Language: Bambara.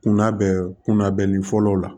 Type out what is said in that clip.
Kunnabɛn kundali fɔlɔ la